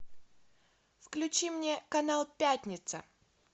включи мне канал пятница